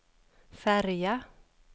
färja